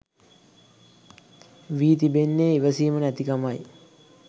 වී තිබෙන්නේ ඉවසීම නැතිකමයි.